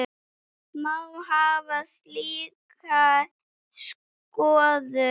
Má hafa slíka skoðun?